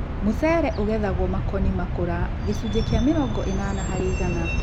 Mũcere ũgethagwo makoni makũra gĩcũnjĩ kĩa mĩrongo ĩnana harĩ igana